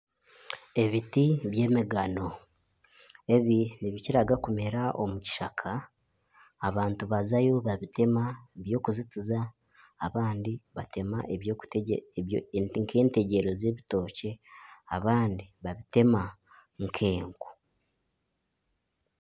Ebiti by'emigano, ebi nibikiraga okumera omu kishaka abantu bazayo babitema by'okuzitiza abandi batema nka etegyero z'ebitookye abandi babitema nk'enku.